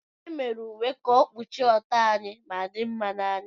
E mere uwe ka ọ kpuchie ọtọ anyị ma dinma n'anya.